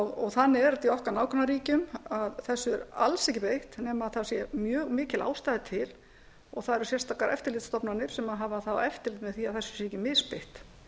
og þannig er þetta í okkar nágrannaríkjum að þessu er alls ekki beitt nema það sé mjög mikil ástæða til og það eru sérstakar eftirlitsstofnanir sem hafa eftirlit með því að þessu sé ekki